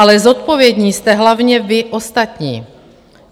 Ale zodpovědní jste hlavně vy ostatní.